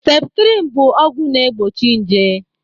Septrin bụ ọgwụ na egbochi nje